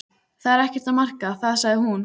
Það er ekkert að marka það sagði hún.